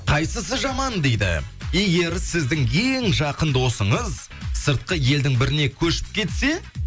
қайсысы жаман дейді егер сіздің ең жақын досыңыз сыртқы елдің біріне көшіп кетсе